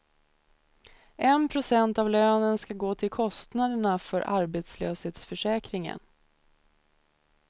En procent av lönen skall gå till kostnaderna för arbetslöshetsförsäkringen.